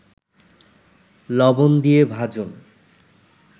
লবণ দিয়ে ভাজুন